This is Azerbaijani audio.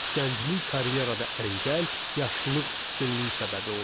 Gənclik karyerada əngəl, yaşlılıq üstünlük isə səbəbi olurdu.